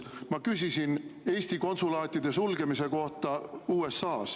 Ma küsisin Eesti konsulaatide sulgemise kohta USA-s.